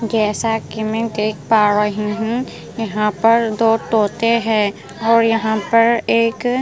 जैसा कि मैं देख पा रही हूँ यहाँ पर दो तोते हैं और यहाँ पर एक --